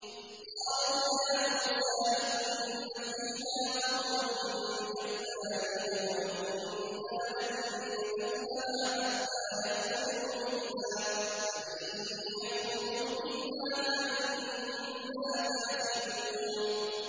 قَالُوا يَا مُوسَىٰ إِنَّ فِيهَا قَوْمًا جَبَّارِينَ وَإِنَّا لَن نَّدْخُلَهَا حَتَّىٰ يَخْرُجُوا مِنْهَا فَإِن يَخْرُجُوا مِنْهَا فَإِنَّا دَاخِلُونَ